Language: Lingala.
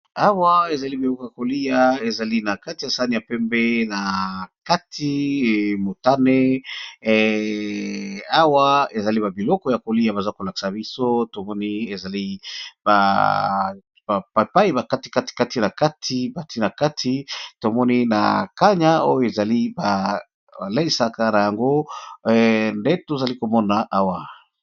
awa ezali beboka kolia ezali na kati ya sani ya pembe na kati motane awa ezali babiloko ya kolia baza kolaksa biso tomoni ezali apai bakati katikati na kati bati na kati tomoni na kanya oyo ezali baleisaka na yango nde tozali komona awa